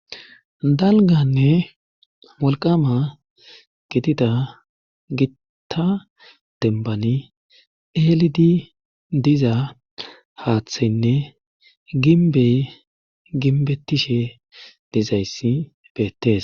dalganne wolqama gitida gitta dembani eelidi diza haaththaynne ginbey ginbetishe dizayssi beettes